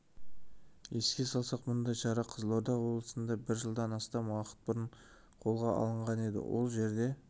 еске салсақ мұндай шара қызылорда облысында бір жылдан астам уақыт бұрын қолға алынған еді ол жерде